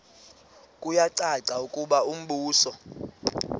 kuyacaca ukuba umbuso